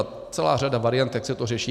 Je celá řada variant, jak se to řeší.